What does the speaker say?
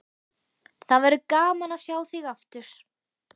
Það verður gaman að sjá þig aftur.